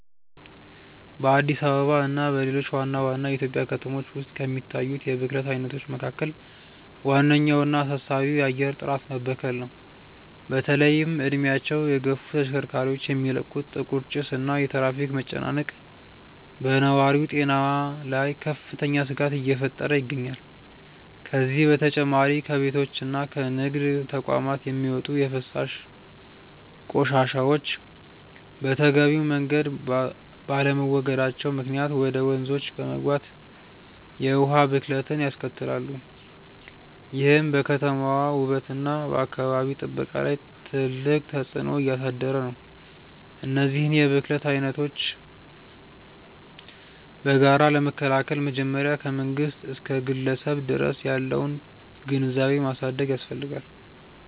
በአዲስ አበባ እና በሌሎች ዋና ዋና የኢትዮጵያ ከተሞች ውስጥ ከሚታዩት የብክለት አይነቶች መካከል ዋነኛውና አሳሳቢው የአየር ጥራት መበከል ነው። በተለይም እድሜያቸው የገፉ ተሽከርካሪዎች የሚለቁት ጥቁር ጭስ እና የትራፊክ መጨናነቅ በነዋሪው ጤና ላይ ከፍተኛ ስጋት እየፈጠረ ይገኛል። ከዚህም በተጨማሪ ከቤቶችና ከንግድ ተቋማት የሚወጡ የፍሳሽ ቆሻሻዎች በተገቢው መንገድ ባለመወገዳቸው ምክንያት ወደ ወንዞች በመግባት የውሃ ብክለትን ያስከትላሉ፤ ይህም በከተማዋ ውበትና በአካባቢ ጥበቃ ላይ ትልቅ ተጽዕኖ እያሳደረ ነው። እነዚህን የብክለት አይነቶች በጋራ ለመከላከል መጀመሪያ ከመንግስት እስከ ግለሰብ ድረስ ያለውን ግንዛቤ ማሳደግ ያስፈልጋል።